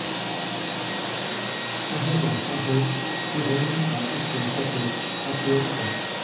कहा जा रहा है कि रैना का इस लड़का से अफेयर था